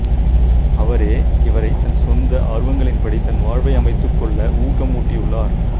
அவரே இவரைத் தன் சொந்த ஆர்வங்களின்படி தன்வாழ்வை அமைத்துக்கொள்ள ஊக்கம் ஊட்டியுள்ளார்